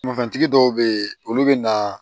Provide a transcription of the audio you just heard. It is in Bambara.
Manfɛntigi dɔw bɛ yen olu bɛ na